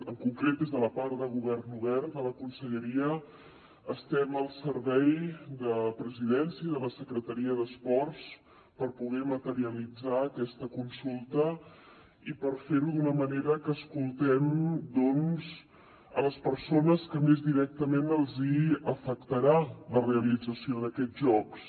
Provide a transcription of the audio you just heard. en concret des de la part de govern obert de la conselleria estem al servei de presidència de la secretaria d’esports per poder materialitzar aquesta consulta i per fer ho d’una manera que escoltem doncs a les persones a qui més directament els afectarà la realització d’aquests jocs